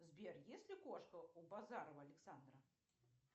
сбер есть ли кошка у базарова александра